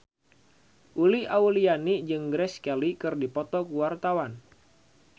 Uli Auliani jeung Grace Kelly keur dipoto ku wartawan